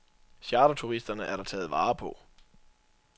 Charterturisterne er der taget vare på.